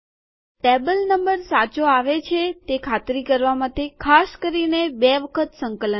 table number સાચો આવે છે તે ખાતરી કરવા માટે ખાસ કરીને બે વખત સંકલન કરવું